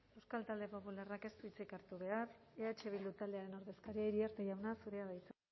euskal talde popular ciudadanosek ez du hitzik hartu behar eh bildu taldearen ordezkaria iriarte jauna zurea da hitza